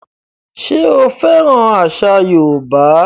Ṣé o fẹ́ràn àṣà yóòbá?